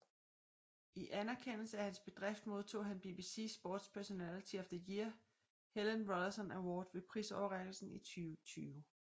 I anerkendelse af hans bedrift modtog han BBC Sports Personality of the Year Helen Rollason Award ved prisoverrækkelsen i 2020